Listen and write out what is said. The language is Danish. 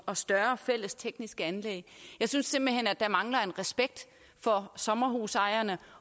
og større fælles tekniske anlæg jeg synes simpelt hen at der mangler respekt for sommerhusejerne